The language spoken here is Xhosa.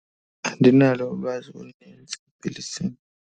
Andinalo ulwazi olunintsi kweli simo.